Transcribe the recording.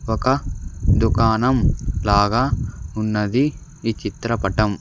ఒక దుకాణం లాగా ఉన్నది ఈ చిత్రపటం.